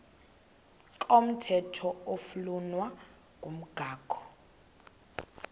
komthetho oflunwa ngumgago